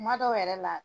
Kuma dɔw yɛrɛ la